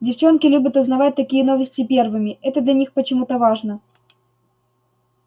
девчонки любят узнавать такие новости первыми это для них почему-то важно